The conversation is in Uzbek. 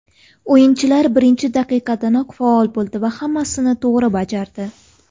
O‘yinchilar birinchi daqiqadanoq faol bo‘ldi va hammasini to‘g‘ri bajardi.